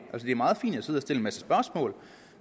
det er meget fint at sidde og stille en masse spørgsmål